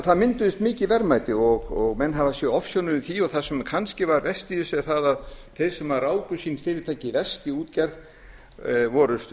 það mynduðust mikil verðmæti og menn hafa séð ofsjónum yfir því og það sem kannski var verst í þessu var að þeir sem ráku sín fyrirtæki í útgerð voru